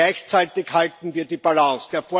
Gleichzeitig halten wir die Balance.